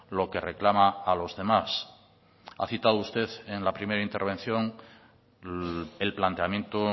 lo que reclama a los demás ha citado usted en la primera intervención el planteamiento